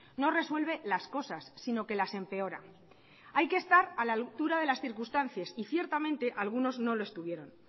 no resuelve las cosas sino que las empeora hay que estar a la altura de las circunstancias y ciertamente algunos no lo estuvieron